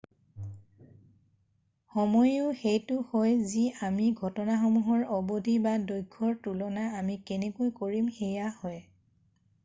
সময়োও সেইটো হয় যি আমি ঘটনাসমূহৰ অবধি দৈৰ্ঘ্য ৰ তুলনা আমি কেনেকৈ কৰিম সেইয়া হয়৷